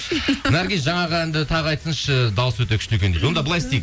наргиз жаңағы әнді таңғы айтсыншы дауысы өте күшті дейді онда былай істейік